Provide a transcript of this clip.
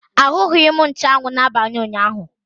Ahụghị m nchuanwu n'abalị ụnyaahụ.